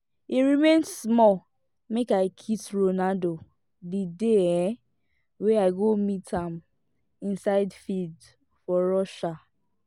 e remain small make i kiss ronaldo the dey um wey i go meet am inside field for russia